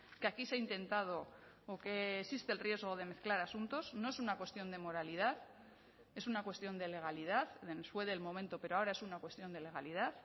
que aquí se ha intentado o que existe el riesgo de mezclar asuntos no es una cuestión de moralidad es una cuestión de legalidad fue del momento pero ahora es una cuestión de legalidad